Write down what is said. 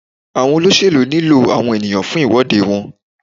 Àwọn olóṣèlú nílò àwọn ènìyàn fún ìwọ́de wọn.